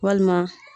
Walima